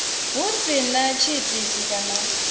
hu si na tshiitisi kana